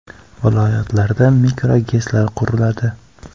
Viloyatlarda mikroGESlar quriladi.